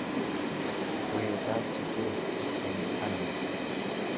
Weet ab sukul eng annex.